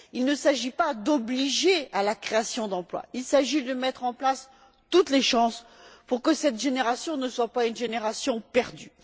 Il ne s'agit pas d'obliger à la création d'emploi, il s'agit de mettre en place toutes les chances pour que cette génération ne soit pas une génération perdue.